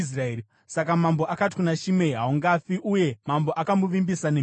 Saka mambo akati kuna Shimei, “Haungafi.” Uye mambo akamuvimbisa nemhiko.